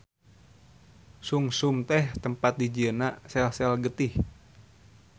Sungsum teh tempat dijieunna sel-sel getih.